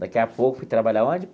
Daqui a pouco fui trabalhar onde?